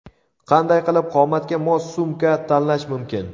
Qanday qilib qomatga mos sumka tanlash mumkin?.